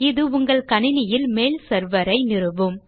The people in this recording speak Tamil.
இது உங்கள் கணினியில் மெயில் செர்வர் ஐ நிறுவும்